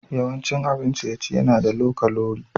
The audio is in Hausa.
Yawancin abin ciye-ciye na da low kalori.